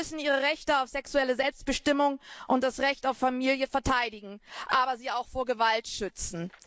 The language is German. Wir müssen ihre Rechte auf sexuelle Selbstbestimmung und das Recht auf Familie verteidigen, aber sie auch vor Gewalt schützen.